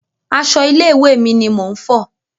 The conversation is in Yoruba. Aṣọ ilé ìwé mi ni mò ń fọ̀.